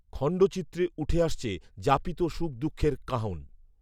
খণ্ডচিত্রে উঠে আসছে যাপিত সুখ দুঃখের কাহন